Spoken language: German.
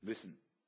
sein müssen.